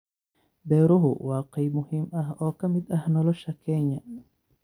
Beeruhu waa qayb muhiim ah oo ka mid ah nolosha Kenya.